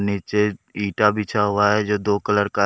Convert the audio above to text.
नीचे ईंटा बिछा हुआ है जो दो कलर का--